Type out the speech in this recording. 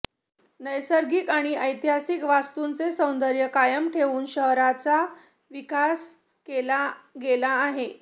नैसर्गिक आणि ऐतिहासिक वास्तूंचे सौंदर्य कायम ठेवून शहराचा विकास केला गेला आहे